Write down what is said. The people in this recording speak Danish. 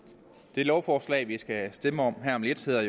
det lovforslag vi skal stemme om her om lidt hedder